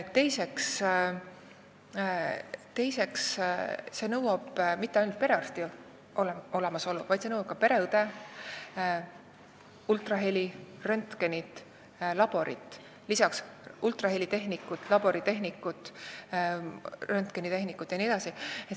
Teiseks, see ei nõua mitte ainult perearsti kohalolekut, vaid see nõuab ka pereõde, ultraheli, röntgenit, laborit, lisaks ultraheli tehnikut, labori tehnikut, röntgeni tehnikut jne.